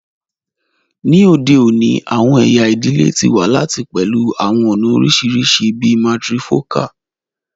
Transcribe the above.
Ni ode oni, awọn ẹya idile ti wa lati pẹlu awọn ọna oriṣiriṣi bii matrifocal